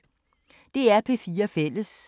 DR P4 Fælles